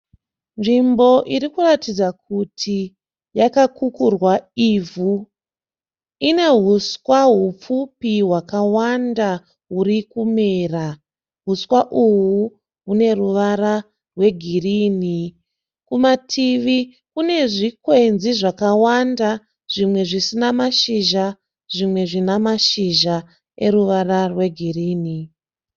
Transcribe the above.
Nzvimbo iri kuratidza kuti yakakukurwa ivhu. Ine huswa hupfupi hwakawanda hwuri kumera. Huswa uhwu hwune ruvara rwegirini. Kumativi kune zvikwenzi zvakawanda zvimwe zvisina mashizha zvimwe zvina mashizha eruvara rwegirini.